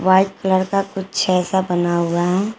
White colour का कुछ ऐसा बना हुआ है।